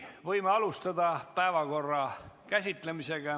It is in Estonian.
Võime alustada päevakorra käsitlemist.